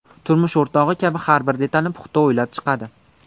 Turmush o‘rtog‘i kabi har bir detalni puxta o‘ylab chiqadi.